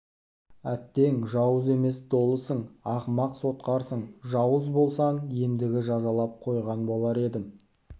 әттең жауыз емес долысың ақымақ сотқарсың жауыз болсаң ендігі жазалап қойған болар едім